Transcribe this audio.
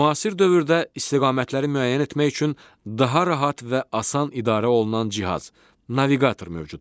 Müasir dövrdə istiqamətləri müəyyən etmək üçün daha rahat və asan idarə olunan cihaz - naviqator mövcuddur.